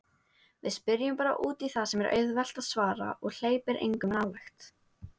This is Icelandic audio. Við spyrjum bara útí það sem er auðvelt að svara og hleypir engum nálægt.